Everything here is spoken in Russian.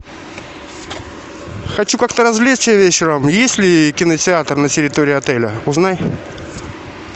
хочу как то развлечься вечером есть ли кинотеатр на территории отеля узнай